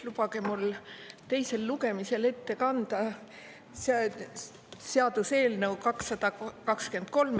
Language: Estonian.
Lubage mul teisel lugemisel ette kanda seaduseelnõu 223.